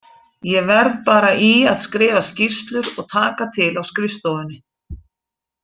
Ég verð bara í að skrifa skýrslur og taka til á skrifstofunni.